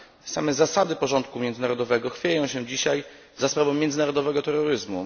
Same zasady porządku międzynarodowego chwieją się dzisiaj za sprawą międzynarodowego terroryzmu.